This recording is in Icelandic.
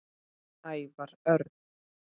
Ævar Örn